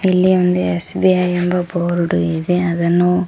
ಇಲ್ಲಿ ಒಂದು ಎಸ್_ಬಿ_ಐ ಎಂಬ ಬೋರ್ಡ್ ಇದೆ ಅದನ್ನು--